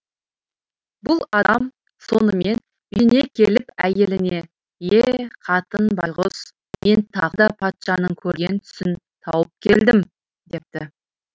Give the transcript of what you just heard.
бұл адам сонымен үйіне келіп әйеліне е қатын байғұс мен тағы да патшаның көрген түсін тауып келдім депті